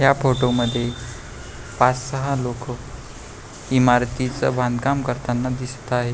ह्या फोटो मध्ये पाच सहा लोक इमारतीच बांधकाम करताना दिसत आहे.